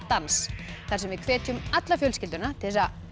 dans þar sem við hvetjum alla fjölskylduna til þess að